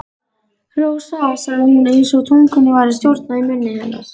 Rósa, sagði hún einsog tungunni væri stjórnað í munni hennar.